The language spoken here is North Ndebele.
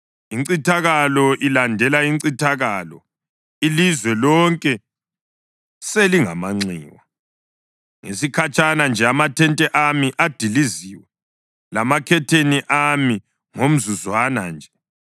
Incithakalo ilandela incithakalo, ilizwe lonke selingamanxiwa. Ngesikhatshana nje amathente ami adiliziwe, lamakhetheni ami ngomzuzwana nje.